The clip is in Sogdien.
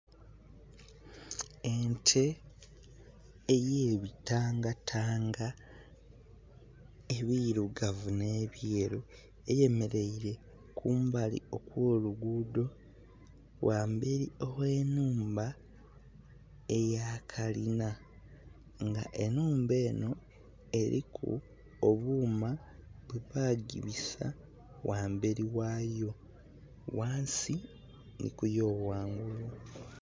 Ente eyebitanga tanga ebirugavu nhe byeru eyemereire kumbali okwo lugudho, ghamberi ghe nhumba eya kalinha nga enhumba enho eriku obuuma bwe bagibisa ghamberi ghayo ghansi nhi ku yo ghangulu.